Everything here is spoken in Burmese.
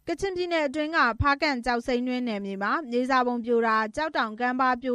ကချင်ပြည်နယ်၊ ဖားကန့်ကျောက်စိမ်းတွင်း နယ်မြေထဲမှာ မြေစာပုံ ပြိုကျမှုနဲ့ ကျောက်တောင်ကမ်းပါး ပြ